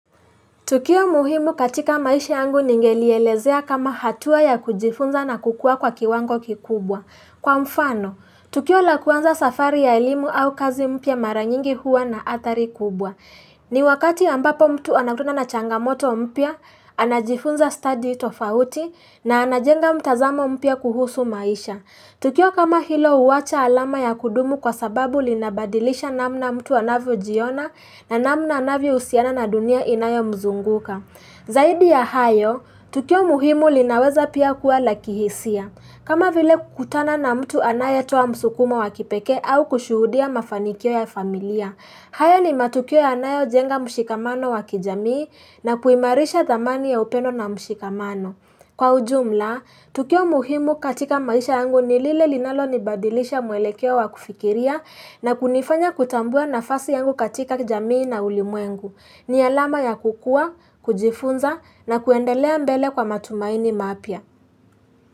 Tukio muhimu katika maisha yangu ningelielezea kama hatua ya kujifunza na kukua kwa kiwango kikubwa. Kwa mfano, tukio la kuanza safari ya elimu au kazi mpya mara nyingi huwa na athari kubwa. Ni wakati ambapo mtu anakutana na changamoto mpya, anajifunza study tofauti na anajenga mtazamo mpya kuhusu maisha. Tukio kama hilo huwacha alama ya kudumu kwa sababu linabadilisha namna mtu anavyo jiona na namna anavyo husiana na dunia inayo mzunguka. Zaidi ya hayo, tukio muhimu linaweza pia kuwa la kihisia. Kama vile kutana na mtu anaye toa msukumo wa kipekee au kushuhudia mafanikio ya familia. Hayo ni matukio yanayo jenga mshikamano wakijamii na kuimarisha dhamani ya upendo na mshikamano. Kwa ujumla, tukio muhimu katika maisha yangu ni lile linalo ni badilisha mwelekeo wa kufikiria na kunifanya kutambua nafasi yangu katika jamii na ulimuengu. Ni alama ya kukua, kujifunza na kuendelea mbele kwa matumaini mapya.